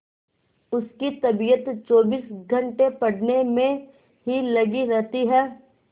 उसकी तबीयत चौबीस घंटे पढ़ने में ही लगी रहती है